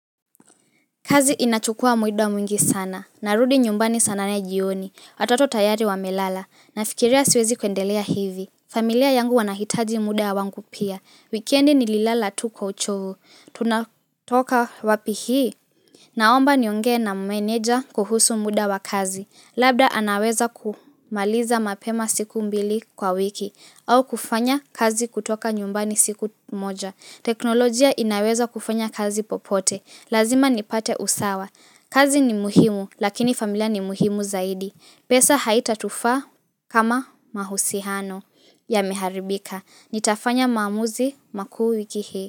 Kazi inachukua muida mwingi sana narudi nyumbani saa nane jioni watoto tayari wamelala nafikiria siwezi kuendelea hivi familia yangu wanahitaji muda wangu pia wikendi nililala tu kwa ucho Tunatoka wapi hii? Naomba nionge na meneja kuhusu muda wa kazi labda anaweza kumaliza mapema siku mbili kwa wiki au kufanya kazi kutoka nyumbani siku moja teknolojia inaweza kufanya kazi popote. Lazima nipate usawa. Kazi ni muhimu lakini familia ni muhimu zaidi pesa haita tufaa kama mahusihano yameharibika nitafanya maamuzi makuu wiki hii.